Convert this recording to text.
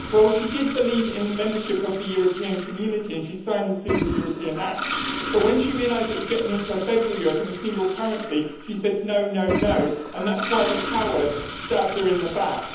She did believe in the membership of the European Community and she signed the Single European Act, but when she realised it was getting into a federal Europe and a single currency she said, No, no, no', and that is why the cowards stabbed her in the back.